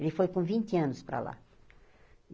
Ele foi com vinte anos para lá.